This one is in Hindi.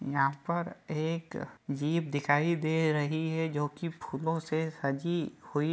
यहाँ पर एक जीप दिखाई दे रही है जो कि फूलो से सज़ी हुई --